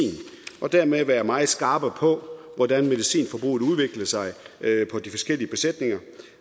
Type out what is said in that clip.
og dermed være meget skarpere på hvordan medicinforbruget udvikler sig på de forskellige besætninger